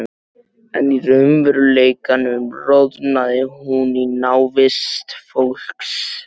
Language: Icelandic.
En í raunveruleikanum roðnaði hún í návist fólks.